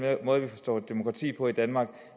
måde vi forstår demokrati på i danmark